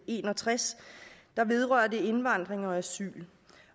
en og tres vedrører indvandring og asyl